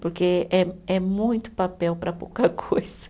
Porque é é muito papel para pouca coisa.